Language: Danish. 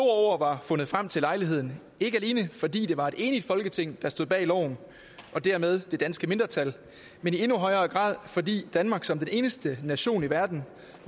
ord var fundet frem til lejligheden ikke alene fordi det var et enigt folketing der stod bag loven og dermed det danske mindretal men i endnu højere grad fordi danmark som den eneste nation i verden